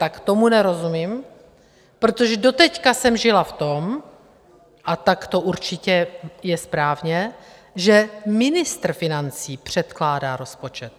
Tak tomu nerozumím, protože doteď jsem žila v tom - a tak to určitě je správně - že ministr financí předkládá rozpočet.